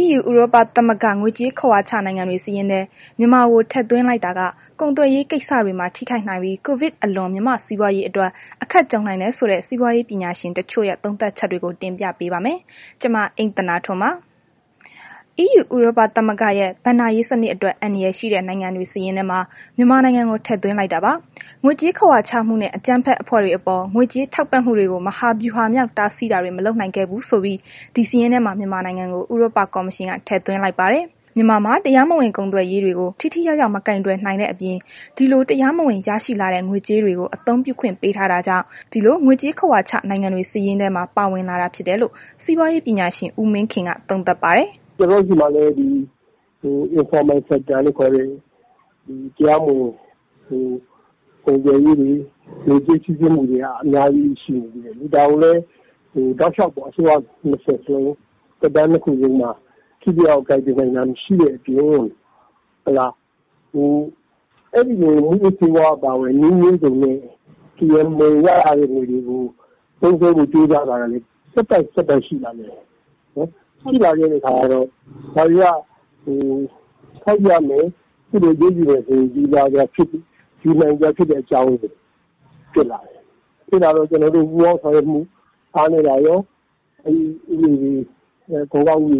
EU ဥရောပသမဂ္ဂက ငွေကြေးခဝါချ နိုင်ငံတွေစာရင်းထဲ မြန်မာကိုထည့်သွင်းလိုက်တာ ကုန်သွယ်ရေးကိစ္စတွေမှာ ထိခိုက်နိုင်ပြီး COVID အလွန် မြန်မာ့စီးပွားရေးအတွက် အခက်ကြုံနိုင်တယ်ဆိုတဲ့ စီးပွားရေးပညာရှင်တချို့ရဲ့ သုံးသပ်ချက်တွေကို ဗွီအိုအေမြန်မာပိုင်းသတင်းထောက် မအိမ့်သန္တာထွန်းက တင်ပြပေးပါမယ်။ EU ဥရောပသမဂ္ဂရဲ့ ဘဏ္ဍာရေးစနစ်အတွက် အန္တရာယ်ရှိတဲ့ နိုင်ငံတွေစာရင်းမှာ မြန်မာနိုင်ငံကို ထည့်သွင်းလိုက်တာပါ။ ငွေကြေးခဝါချမှုနဲ့ အကြမ်းဖက်အဖွဲ့တွေအပေါ် ငွေကြေးထောက်ပံ့မှုတွေကို မဟာဗျူဟာမြောက် တားဆီးတာတွေ မလုပ်နိုင်ခဲ့ဘူးဆိုပြီး ဒီစာရင်းထဲမှာ မြန်မာနိုင်ငံကို ဥရောပကော်မရှင်က ထည့်သွင်းလိုက်ပါတယ်။ မြန်မာမှာ တရားမဝင်ကုန်သွယ်ရေးတွေကို ထိထိရောက်ရောက် မကိုင်တွယ်နိုင်တဲ့ အပြင် ဒီလို တရားမဝင်ရရှိလာတဲ့ ငွေကြေးတွေကို အသုံးပြုခွင့်ပေးထားတာကြောင့် ဒီလို ငွေကြေးခဝါချ နိုင်ငံတွေ စာရင်းထဲမှာ ပါဝင်လာတာဖြစ်တယ်လို့ စီးပွားရေးပညာရှင် ဦးမင်းခင်က သုံးသပ်ပါတယ်။ “ကျနော်တို့ဆီမှာ ဒီ တရားမဝင်ကုန်သွယ်ရေးတွေ ငွေကြေး စီးဆင်းမှုတွေက အများကြီးရှိနေသေးတယ်လေ။ ဒါကိုလည်း တောက်လျှောက်ပေါ့။ အစိုးရ သက်တမ်းနှစ်ခုလုံးမှာ ထိထိရောက်ရောက် ကိုင်တွယ်နိုင်တာ မရှိတဲ့အပြင် အဲ့ဒီလို မူးယစ်ဆေးဝါးအပါအဝင် နည်းမျိုးစုံနဲ့ ရလာတဲ့ ငွေတွေကို သုံးစွဲဖို့ ကြိုးစားတာကလည်း ဆက်တိုက်၊ ဆက်တိုက်ရှိလာတယ်။ ရှိလာတဲ့ အခါ ဒါတွေက ထောက်ပြမယ်၊ အရေးယူမယ်ဆိုရင် ဒီဟာတွေဟာ အရေးယူနိုင်စရာ အကြောင်းတွေဖြစ်တယ်။ ကျနော်တို့မှာ ပူးပေါင်းဆောင်ရွက်မှု အားနည်းတာရော အခွန်အကောက်မှာ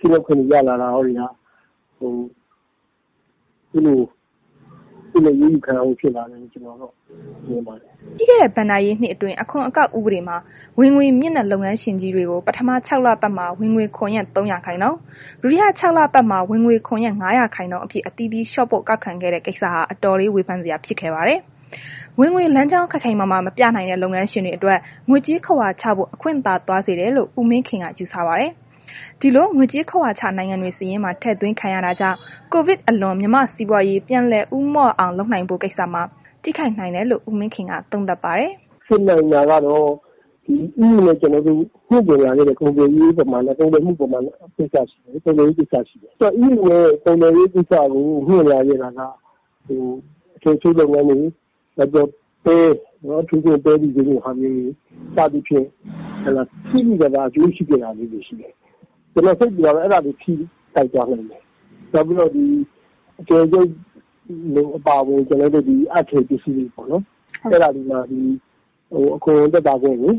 ကင်းလွတ်ခွင့်တွေ ရလာတာရောက ဒီလို အရေးယူခံရဖို့ ဖြစ်လာတယ်လို့ ကျနော်က မြင်ပါတယ်။” ပြီးခဲ့တဲ့ ဘဏ္ဍာရေးနှစ်အတွင်း အခွန်အကောက်ဥပဒေမှာ ဝင်ငွေမြင့်တဲ့ လုပ်ငန်းရှင်ကြီးတွေကို ပထမ ခြောက်လပတ်မှာ ဝင်ငွေခွန်ရဲ့ ၃ ရာခိုင်နှုန်း၊ ဒုတိယ ခြောက်လပတ်မှာ ဝင်ငွေခွန်ရဲ့ ၅ ရာခိုင်နှုန်းအဖြစ် အသီးသီးလျှော့ပေါ့ ကောက်ခံခဲ့တဲ့ကိစ္စဟာ အတော်လေး ဝေဖန်စရာဖြစ်ခဲ့ပါတယ်။ ဝင်ငွေလမ်းကြောင်း ခိုင်ခိုင်မာမာ မပြနိုင်တဲ့ လုပ်ငန်းရှင်တွေအတွက် ငွေကြေးခဝါချဖို့ အခွင့်သာသွားစေတယ်လို့ ဦးမင်းခင်က ယူဆပါတယ်။ ဒီလို ငွေကြေးခဝါချ နိုင်ငံတွေစာရင်းမှာ ထည့်သွင်းခံရတာကြောင့် COVID အလွန် မြန်မာ့စီးပွားရေး ပြန်လည်ဦးမော့အောင်လုပ်ဖို့ကိစ္စမှာ ထိခိုက်နိုင်တယ်လို့ ဦးမင်းခင်က သုံးသပ်ပါတယ်။ “ဖြစ်နိုင်တာကတော့ EU နဲ့ ကျနော်တို့ မြှင့်တင်လာခဲ့တဲ့ ကုန်သွယ်ရေးကိစ္စတွေ ရှိတယ်။ အဲ့လို ကုန်သွယ်ရေးလုပ်ငန်းကို မြှင့်လာခဲ့တာက အထည်ချုပ်လုပ်ငန်းတွေ၊ နောက်ပဲ အထူးသဖြင့် ပဲတီစိမ်းလိုဟာမျိုးတွေ စသည်ဖြင့် သိသိသာသာ အကျိုးရှိခဲ့တဲ့ ဟာတွေ ကျနော် စိတ်ပူတာက အဲ့ဒါတွေ ထိခိုက်သွားနိုင်တယ်။ နောက်အထည်ချုပ်အပါအဝင် အပ်ထည်ပစ္စည်တွေပေါ့နှော်။ အဲ့ဒါတွေမှာ အခွန်သက်သာခွင့်တွေ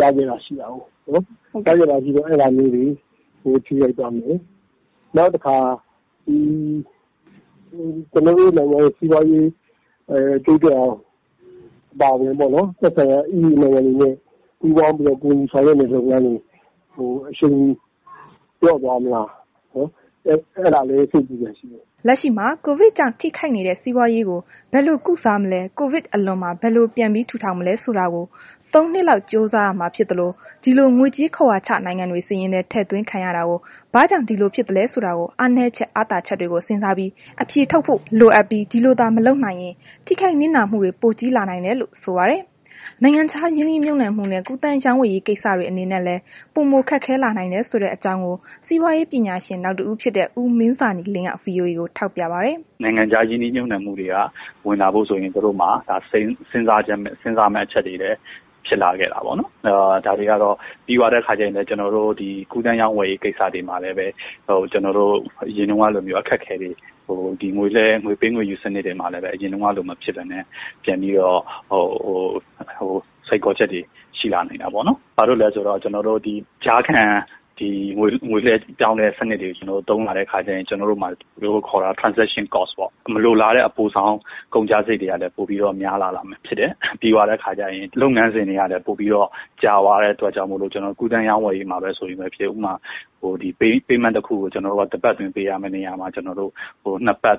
ရနေတာရှိတာကိုး၊ အဲ့ဒါမျိုးတွေကို ထိခိုက်သွားမယ်။ နောက်တခါ လူမှုရေး၊ နိုင်ငံရေး၊ စီးပွားရေး တိုးတက်အောင် အပါအဝင်ပေါ့နှော် သက်ဆိုင်ရာ EU နိုင်ငံတွေနဲ့ ပူးပေါင်းပြီးတော့ ကူညီဆောင်ရွက်နေတဲ့ လုပ်ငန်းတွေကို အရှိန်လျော့ သွားမလား အဲ့ဒါလည်း စိတ်ပူစရာ ရှိတယ်။” လက်ရှိမှာ ကိုဗစ်ကြောင့် ထိခိုက်နေတဲ့ စီးပွားရေးကို ဘယ်လို ကုစားမလဲ ကိုဗစ်အလွန်မှာ ဘယ်လိုပြန်ပြီး ထူထောင်မလဲ ဆိုတာကို ၃ နှစ်လောက် ကြိုးစားရမှာ ဖြစ်သလို ဒီလို ငွေကြေးခဝါချ နိုင်ငံတွေ စာရင်းထဲ ထည့်သွင်းခံရတာကို ဘာကြောင့် ဒီလိုဖြစ်သလဲဆိုတာကို အားနည်းချက်အားသာချက်တွေကို စဉ်းစားအဖြေထုတ်ဖို့ လိုအပ်ပြီး ဒီလိုသာ မလုပ်နိုင်ရင် ထိခိုက်နစ်နာမှုက ပိုကြီးလာနိုင်တယ်လို့ ဆိုပါတယ်။ နိုင်ငံခြားရင်းနှီးမြှုပ်နှံမှုနဲ့ ကူးသန်းရောင်းဝယ်ရေး ကိစ္စတွေအနေနဲ့လည်း ပိုမိုခက်ခဲလာနိုင်တယ်ဆိုတဲ့အကြောင်းကို စီးပွားရေးပညာရှင်နောက်တဦးဖြစ်တဲ့ ဦးမင်းဇာနည်လင်းက VOA ကို ထောက်ပြပါတယ်။ “နိုင်ငံခြားရင်းနှီးမြှုပ်နှံမှုတွေက ဝင်လာဖို့ဆိုရင် သူတို့မှာ စဉ်စားရမယ့် အချက်တွေဖြစ်လာတာ ပေါ့နှော်။ ပြီးတော့ ဒီကူးသန်းရောင်းဝယ်ရေး ကိစ္စတွေမှာလည်းပဲ ကျနော်တို့ အရင်တုန်းကလိုမျိုး အခက်အခဲတွေ၊ ငွေပေးငွေယူစနစ်မှာလည်းပဲ အရင်ကလို မဖြစ်ပဲနဲ့ ပြန်ပြီးတော့ စိန်ခေါ်ချက်တွေ ရှိလာနိုင်တာပေါ့နှော်။ ဘာလို့လဲဆိုတော့ ကျနော်တို့ကြားခံ ဒီ ငွေလွဲပြောင်းတဲ့စနစ်တွေကို သုံးလာတဲ့အခါကျရင် မလိုလားအပ်တဲ့ ကုန်ကျစရိတ်တွေကလည်း ပိုပြီးတော့ ကုန်ကျလာမှာဖြစ်တယ်။ ပြီးတော့ လုပ်ငန်းစဉ်တွေကလည်း ပိုပြီးတော့ ကြာသွားတဲ့အခါကျတော့ ကူးသန်းရောင်းဝယ်ရေးမှာပဲ ဆိုရင်ဖြစ်ဖြစ် ဥပမာ Payment တစ်ခုကို တစ်ပတ်အတွင်း ပေးရမယ့် နေရာမှာ နှစ်ပတ် ၃ ပတ်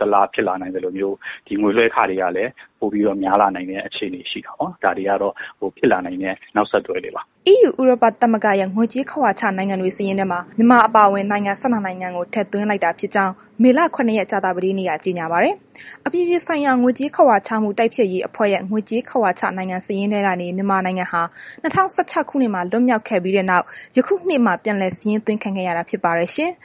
တစ်လ ဖြစ်လာနိုင်သလိုမျိုး ဒီငွေလွဲခတွေကလည်း ပိုပြီးတော့ များလာနိုင်တဲ့ အခြေအနေ ရှိတာပေါ့နှော်။ ဒါတွေကတော့ ဖြစ်လာနိုင်တဲ့ နောက်ဆက်တွဲတွေပါ။” EU ဥရောပသမဂ္ဂရဲ့ ငွေကြေးခဝါချ နိုင်ငံစာရင်းတွေထဲမှာ မြန်မာ အပါအဝင် နိုင်ငံ ၁၂ နိုင်ငံကို ထည့်သွင်းလိုက်တာဖြစ်ကြောင်း မေလ ၇ ရက် ကြာသပတေးနေ့က ကြေညာပါတယ်။ အပြည်ပြည်ဆိုင်ရာ ငွေကြေးခဝါချမှု တိုက်ဖျက်ရေးအဖွဲ့ရဲ့ ငွေကြေးခဝါချ နိုင်ငံစာရင်းထဲကနေ မြန်မာနိုင်ငံဟာ ၂၀၁၆ ခုနှစ်မှာ လွတ်မြောက်ခဲ့ပြီးတဲ့နောက် ယခုနှစ်မှာ ပြန်လည်စာရင်းသွင်းခံခဲ့ရတာ ဖြစ်ပါတယ်ရှင်။